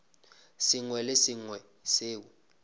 sengwe le se sengwe seo